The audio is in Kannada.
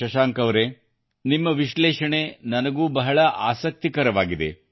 ಶಶಾಂಕ್ ಅವರೇ ನಿಮ್ಮ ವಿಶ್ಲೇಷಣೆ ನನಗೂ ಬಹಳ ಆಸಕ್ತಿಕರವಾಗಿದೆ